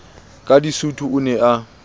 ka disutu o ne a